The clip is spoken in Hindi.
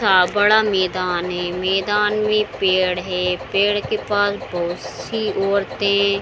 सा बड़ा मैदान है। मैदान में पेड़ है। पेड़ के पास बहुत सी औरतें --